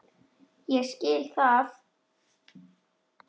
Ég skil það!